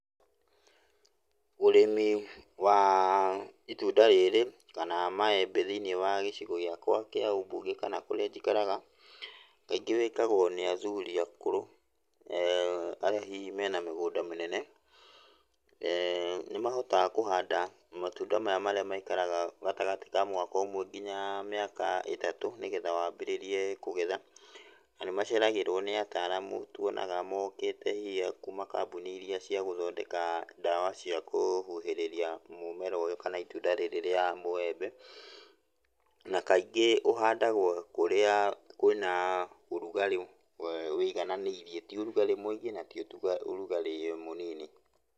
Ũrĩmi wa itunda rĩrĩ kana maembe thĩiniĩ wa gĩcigo gĩakwa kĩa ũmbunge kana kũrĩa njikaraga, kaingĩ wĩkagwo nĩ athuri akũrũ arĩa hihi mena mĩgũnda mĩnene, nĩmahotaga kũhanda matunda maya marĩa maikaraga gatagatĩ ka mwaka ũmwe nginya mĩaka itatũ, nĩgetha wambĩrĩrie kũgetha, na nĩmaceragĩrwo nĩ ataramu tuonaga mokĩte hihi akuuma kambuni iria cia gũthondeka ndawa cia kũhuhĩrĩria mũmera ũyũ, kana itunda riri ria mũembe, na kaingĩ ũhandagwo kũrĩa kwĩ na ũrugarĩ ũigananĩirie, ti ũrugarĩ mũingĩ na ti ũrugarĩ mũnini.